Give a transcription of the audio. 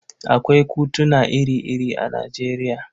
Akwai kutuna ire-ire a Nijeriya.